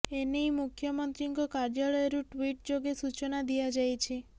ଏ ନେଇ ମୁଖ୍ୟମନ୍ତ୍ରୀଙ୍କ କାର୍ଯ୍ୟାଳୟରୁ ଟ୍ୱିଟ୍ ଯୋଗେ ସୂଚନା ଦିଆଯାଇଛି